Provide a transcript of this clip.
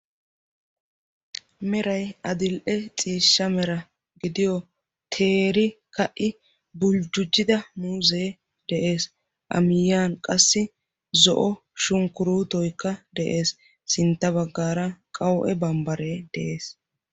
meray adil'e ciishsha mera gidiyoo teeri ka'i buljjujjida muuzzee de'es a miyaani qassi zo sunkuruutoy de'es sintta bagaara qawu'e bambare de'ees.